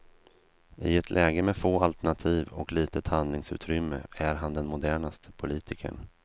I ett läge med få alternativ och litet handlingsutrymme är han den modernaste politikern.